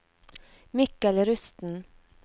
Mikkel Rusten